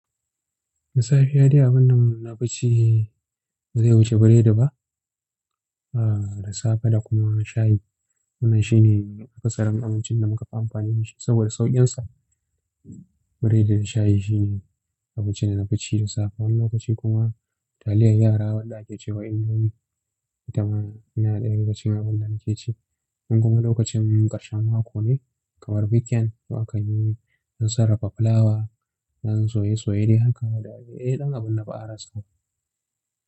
Da safiya dai abinda nafici bazai wuce biredi ba. Ah, da safe da kuma shayi. Wannan shine akasarin abincinda mukafi amfani dashi saboda sauƙinsa. Biredi da shayi shine abincida nafi ci da safe. Wani lokaci kuma taliyar yara wadda ake cewa indomi. Itama tana daya daga cikin abinda nake ci. In kuma lokacin ƙarshen mako ne kamar weekend, to aka yi yAn sarrafa fulawa, yan soye-soye dai haka da dai ɗan abinda ba a rasaba.